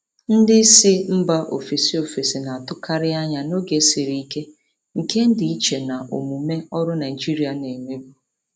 Ndị isi mba ofesi ofesi na-atụkarị anya n'oge siri ike, nke dị iche na omume ọrụ Naijiria na-emebu.